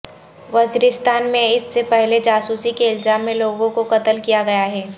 وزیرستان میں اس سے پہلے جاسوسی کے الزام میں لوگوں کو قتل کیا گیا ہے